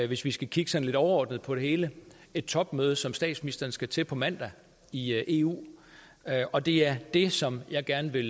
hvis vi skal kigge sådan lidt overordnet på det hele et topmøde som statsministeren skal til på mandag i eu og det er det som jeg gerne vil